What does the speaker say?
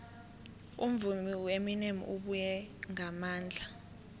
umvumi ueminem ubuye ngamandla